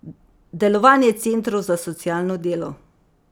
Delovanje centrov za socialno delo.